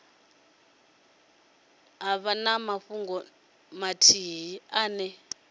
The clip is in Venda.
vha na fhungo ithihi ine